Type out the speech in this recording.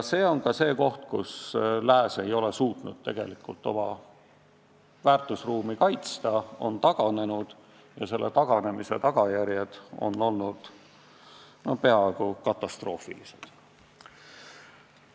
See on ka see koht, kus lääs ei ole suutnud tegelikult oma väärtusruumi kaitsta, ta on taganenud ja selle taganemise tagajärjed on olnud peaaegu katastroofilised.